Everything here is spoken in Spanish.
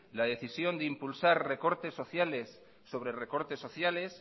la decisión de impulsar recortes sociales sobre recortes sociales